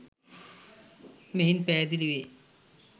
මෙයින් පැහැදිලි වේ.